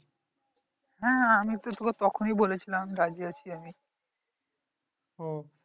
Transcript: হ্যাঁ হ্যাঁ আমি তো তোকে তখনই বলেছিলাম রাজি আছি ও